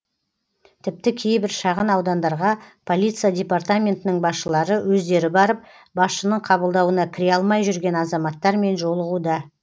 тіпті кейбір шағын аудандарға полиция департаментінің басшылары өздері барып басшының қабылдауына кіре алмай жүрген азаматтармен жолығуда